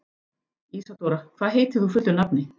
Ísadóra, hvað heitir þú fullu nafni?